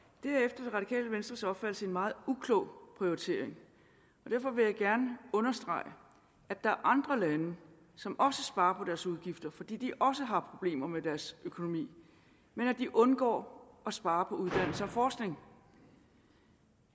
det er venstres opfattelse en meget uklog prioritering og derfor vil jeg gerne understrege at der er andre lande som også sparer på deres udgifter fordi de også har problemer med deres økonomi men de undgår at spare på uddannelse og forskning